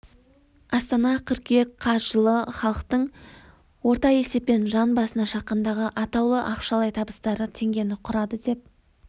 астана қөыркүйек қаз жылы халықтың орта есеппен жан басына шаққандағы атаулы ақшалай табыстары теңгені құрады деп